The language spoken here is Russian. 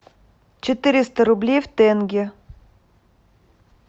четыреста рублей в тенге